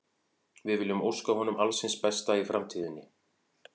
Við viljum óska honum alls hins besta í framtíðinni.